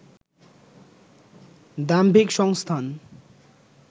দাম্ভিক সংস্থান